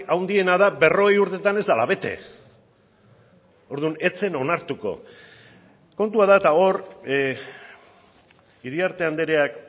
handiena da berrogei urtetan ez dela bete orduan ez zen onartuko kontua da eta hor iriarte andreak